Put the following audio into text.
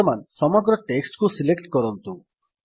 ବର୍ତ୍ତମାନ ସମଗ୍ର ଟେକ୍ସଟ୍ କୁ ସିଲେକ୍ଟ କରନ୍ତୁ